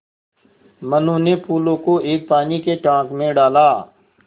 मनु ने फूलों को एक पानी के टांक मे डाला